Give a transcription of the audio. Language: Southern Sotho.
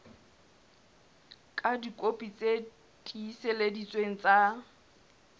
ka dikopi tse tiiseleditsweng tsa